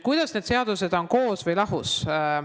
Kuidas need seadused on, koos või lahus?